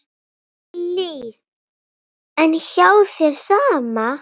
Lillý: En hjá þér, sama?